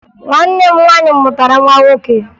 Nwanne m nwaanyị mụtara nwa nwoke